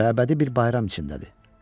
Məbədi bir bayram içimdədir.